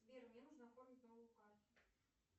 сбер мне нужно оформить новую карту